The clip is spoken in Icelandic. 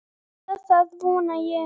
Eða það vona ég,